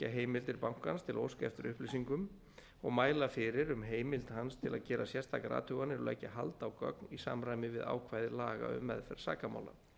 heimildir bankans til að óska eftir upplýsingum og mæla fyrir um heimild hans til að gera sérstakar athuganir og leggja hald á gögn í samræmi við ákvæði laga um meðferð sakamála